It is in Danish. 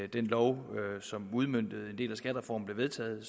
den lov som udmøntede en del af skattereformen blev vedtaget og